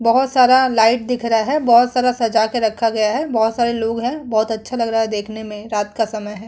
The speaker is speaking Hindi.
बहोत सारा लाइट दिख रहा है। बहोत सारा सजा के रखा गया है। बहोत सारे लोग हैं। बहोत अच्छा लग रहा है देखने में। रात का समय है।